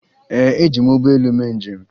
Ee, eji m ụgbọelu mee njem